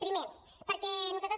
primer perquè nosaltres